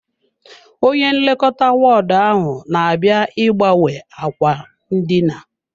Onye nlekọta wọọdụ ahụ na-abịa ịgbanwe ákwà ndina.